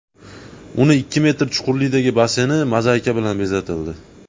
Uning ikki metr chuqurlikdagi basseyni mozaika bilan bezatildi.